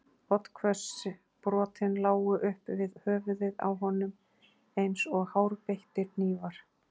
Oddhvöss brotin lágu upp við höfuðið á honum eins og hárbeittir hnífar.